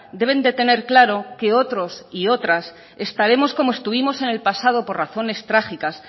deben de tener claro que otros y otras estaremos como estuvimos en el pasado por razones trágicas